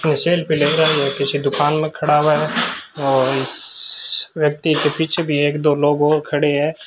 Cell पे लग रहा ये किसी दुकान में खड़ा हुआ है और इस व्यक्ति के पीछे भी एक दो लोग और खड़े है।